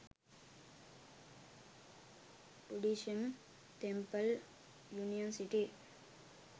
buddhism temple union city